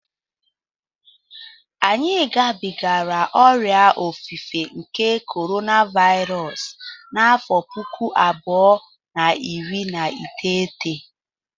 Anyị gabigara ọrịa ofufe nke korona Vairọs n'afọ pụkụ abụọ na iri na iteghete